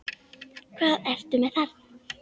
Hvað ertu með þarna?